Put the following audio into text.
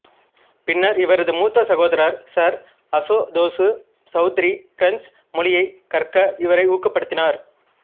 பின்னர் இவரது மூத்த சகோதரர் சர் அசுதோசு சௌத்ரி பிரெஞ்சு மொழியைக் கற்க இவரை ஊக்கப்படுத்தினார்